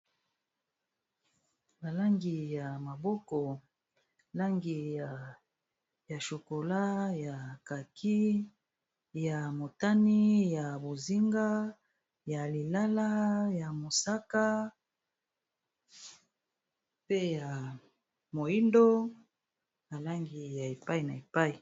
Ba langi ya maboko langi ya shokola, ya kak,i ya motani ya bozinga, ya lilala, ya mosaka pe ya moindo nalangi ya epai na epai